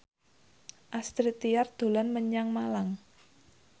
Astrid Tiar dolan menyang Malang